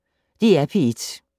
DR P1